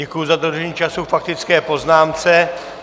Děkuji za dodržení času k faktické poznámce.